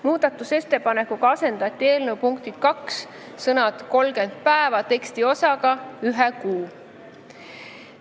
Muudatusettepanekuga asendati eelnõu punktis 2 tekstiosa "30 päeva" sõnadega "ühe kuu".